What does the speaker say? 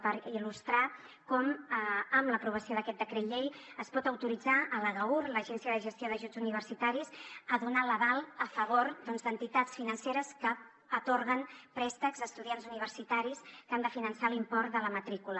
per il·lustrar com amb l’aprovació d’aquest decret llei es pot autoritzar l’agaur l’agència de gestió d’ajuts universitaris a donar l’aval a favor doncs d’entitats financeres que atorguen préstecs a estudiants universitaris que han de finançar l’import de la matrícula